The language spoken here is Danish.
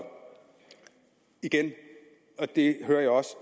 igen og det hører jeg også